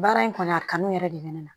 Baara in kɔni a kanu yɛrɛ de bɛ ne na